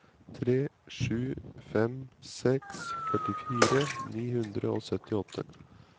tre sju fem seks førtifire ni hundre og syttiåtte